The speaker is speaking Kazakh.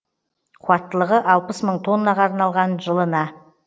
қуаттылығы алпыс мың тоннаға арналған жылына